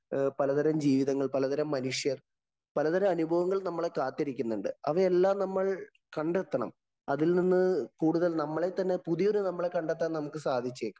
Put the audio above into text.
പലതരം ജീവിതങ്ങള്‍, പലതരം മനുഷ്യര്‍, പലതരം അനുഭവങ്ങള്‍ നമ്മളെ കാത്തിരിക്കുന്നുണ്ട്. അവയെല്ലാം നമ്മള്‍ കണ്ടെത്തണം. അതില്‍ നിന്ന് കൂടുതല്‍ നമ്മളില്‍ തന്നെ പുതിയ ഒരു നമ്മളെ കണ്ടെത്താന്‍ സാധിച്ചേക്കും.